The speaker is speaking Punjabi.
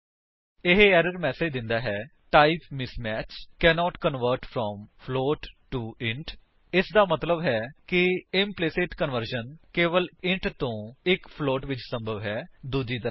ਉਹ ਏਰਰ ਮੈਸੇਜ ਦਿੰਦਾ ਹੈ type mismatch cannot convert from float to int ਇਸਦਾ ਮਤਲੱਬ ਹੈ ਕਿ ਇੰਪਲੀਸਿਟ ਕਨਵਰਸ਼ਨ ਕੇਵਲ ਇੱਕ ਇੰਟ ਵਲੋਂ ਇੱਕ ਫਲੋਟ ਵਿੱਚ ਸੰਭਵ ਹੈ ਦੂਜੀ ਤਰ੍ਹਾਂ ਨਹੀਂ